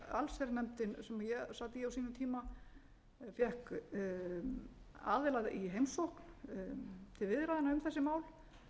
allsherjarnefndin sem ég sat í á sínum tíma fékk aðila í heimsókn til viðræðna um þessi mál